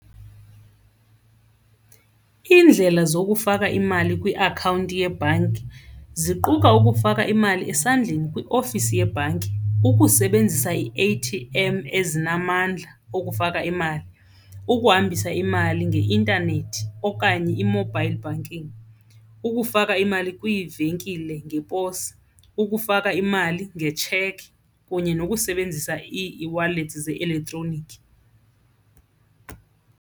Iindlela zokufaka imali kwiakhawunti yebhanki ziquka ukufaka imali esandleni kwiofisi yebhanki, ukusebenzisa ii-A_T_M ezinamandla okufaka imali, ukuhambisa imali ngeintanethi okanye i-mobile banking, ukufaka imali kwiivenkile ngeposi, ukufaka imali ngetshekhi kunye nokusebenzisa ii-eWallet ze-elektroniki.